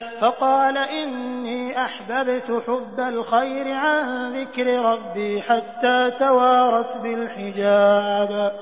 فَقَالَ إِنِّي أَحْبَبْتُ حُبَّ الْخَيْرِ عَن ذِكْرِ رَبِّي حَتَّىٰ تَوَارَتْ بِالْحِجَابِ